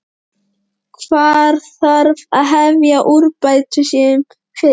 Hvar þarf að hefja úrbætur sem fyrst?